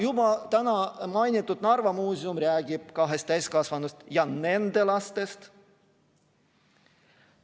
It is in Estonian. Juba täna mainitud Narva Muuseum räägib kahest täiskasvanust ja nende lastest.